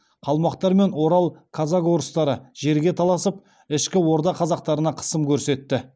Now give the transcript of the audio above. қалмақтар мен орал казак орыстары жерге таласып ішкі орда қазақтарына қысым көрсетті